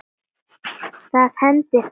Það hendir alla